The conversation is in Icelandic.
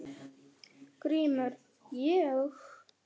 GRÍMUR: Ég?